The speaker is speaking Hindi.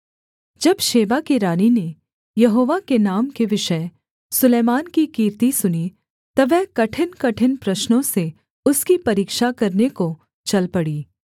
जब शेबा की रानी ने यहोवा के नाम के विषय सुलैमान की कीर्ति सुनी तब वह कठिनकठिन प्रश्नों से उसकी परीक्षा करने को चल पड़ी